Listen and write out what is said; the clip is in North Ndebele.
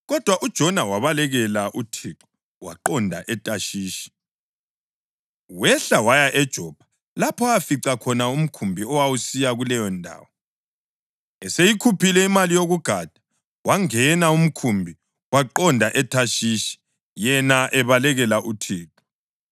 Kodwa uJona wabalekela uThixo waqonda eThashishi. Wehla waya eJopha, lapho afica khona umkhumbi owawusiya kuleyondawo. Eseyikhuphile imali yokugada, wangena umkhumbi waqonda eThashishi yena ebalekela uThixo.